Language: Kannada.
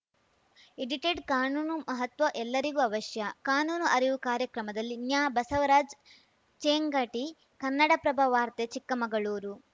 ಎಡಿಟೆಡ್‌ ಕಾನೂನು ಮಹತ್ವ ಎಲ್ಲರಿಗೂ ಅವಶ್ಯ ಕಾನೂನು ಅರಿವು ಕಾರ್ಯಕ್ರಮದಲ್ಲಿ ನ್ಯಾಬಸವರಾಜ್ ಚೇಂಗಟಿ ಕನ್ನಡಪ್ರಭ ವಾರ್ತೆ ಚಿಕ್ಕಮಗಳೂರು